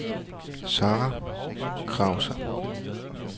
Zahra Krause